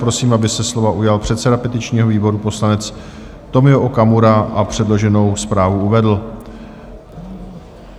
Prosím, aby se slova ujal předseda petičního výboru poslanec Tomio Okamura a předloženou zprávu uvedl.